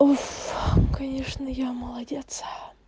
уф конечно я молодец